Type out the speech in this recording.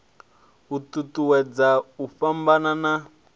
u ṱuṱuwedza u fhambana ha